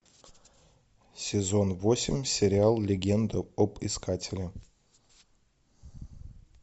сезон восемь сериал легенда об искателе